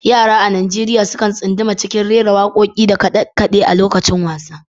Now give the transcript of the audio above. Yara a Najeriya sukan tsunduma cikin rera wakoki da kade-kade a lokacin wasa.